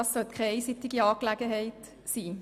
Diese sollte keine einseitige Angelegenheit sein.